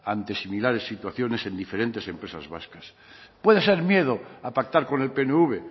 ante similares situaciones en diferentes empresas vascas puede ser miedo a pactar con el pnv